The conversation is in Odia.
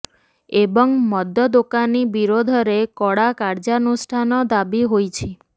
ଏବଂ ମଦ ଦୋକାନୀ ବିରୋଧରେ କଡା କାର୍ଯ୍ୟାନୁଷ୍ଠାନ ଦାବି ହୋଇଛି